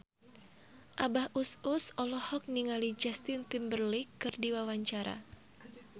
Abah Us Us olohok ningali Justin Timberlake keur diwawancara